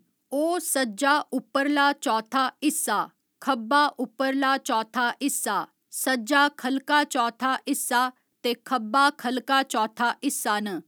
ओह् सज्जा उप्परला चौथा हिस्सा, खब्बा उप्परला चौथा हिस्सा, सज्जा ख'ल्लका चौथा हिस्सा ते खब्बा ख'ल्लका चौथा हिस्सा न।